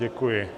Děkuji.